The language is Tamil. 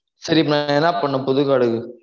சரி இப்ப என்னா பண்ணனும் புது card க்கு